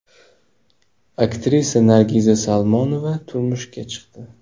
Aktrisa Nargiza Salmonova turmushga chiqdi.